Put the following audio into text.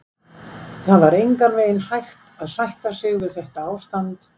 Það var engan veginn hægt að sætta sig við þetta ástand.